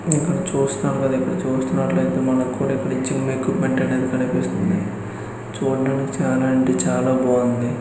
ఇక్కడ చూస్తున్నాంగా ఇక్కడ చూస్తున్నట్లైతే మనక్కూడా ఇక్కడ మీకు వెంటనే కన్పిస్తుంది. చూడ్డానికి చానా అంటే చాలా బాఉంది.